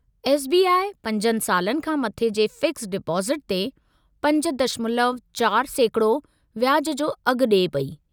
S. B. I. 5 सालनि खां मथे जे फ़िक्स्ड डिपोज़िटु ते 5.4% व्याज जो अघु ॾिए पेई।